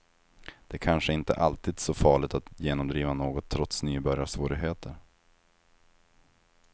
Det är kanske inte alltid så farligt att genomdriva något trots nybörjarsvårigheter.